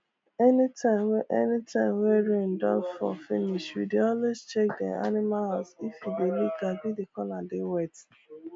anytime wey anytime wey rain don fall finish we dey always check dem animal house if e dey leak abi the corner dey wet